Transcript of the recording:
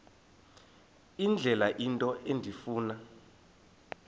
indlela into endifuna